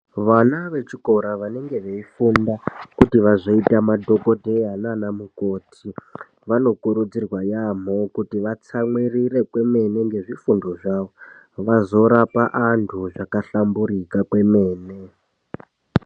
Vana vechikora vanenge veifunda kuti vazoita madhokodheya nana mukoti vanokurudzirwa yaamho kuti vatsamwirire kwemene ngezvifundo zvavo vazorapa antu zvakahlamburika kwemene.